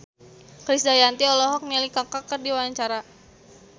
Krisdayanti olohok ningali Kaka keur diwawancara